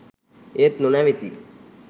ඒත් නොනැවතී